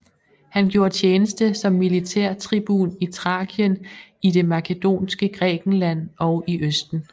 Han gjorde tjeneste som militærtribun i Thrakien i det makedonske Grækenland og i østen